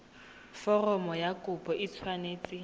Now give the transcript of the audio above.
foromo ya kopo e tshwanetse